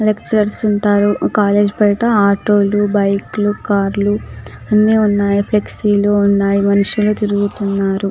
Lectures ఉంటారు college బయట auto లు బైక్ లు కార్ లు అన్నీ ఉన్నాయి ఫ్లెక్సీ లు ఉన్నాయి మనుషులు తిరుగుతూ ఉన్నారు .